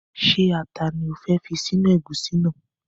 Ṣé ata ni o fẹ́ fi sínú ẹ̀gúsí náà?